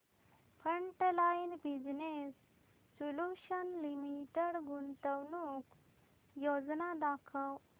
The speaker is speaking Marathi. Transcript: फ्रंटलाइन बिजनेस सोल्यूशन्स लिमिटेड गुंतवणूक योजना दाखव